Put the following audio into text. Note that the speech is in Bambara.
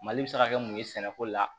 Mali bɛ se ka kɛ mun ye sɛnɛko la